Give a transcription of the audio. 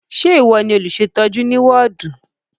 Ṣé ìwọ ni olùṣètọ́jú ní wọ́ọ̀dù?